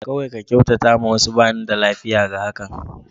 Kawai ka kyautata ma wasu, ba ni da lafiya da hakan.